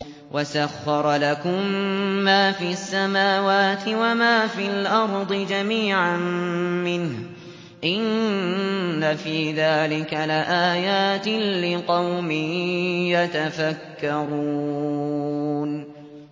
وَسَخَّرَ لَكُم مَّا فِي السَّمَاوَاتِ وَمَا فِي الْأَرْضِ جَمِيعًا مِّنْهُ ۚ إِنَّ فِي ذَٰلِكَ لَآيَاتٍ لِّقَوْمٍ يَتَفَكَّرُونَ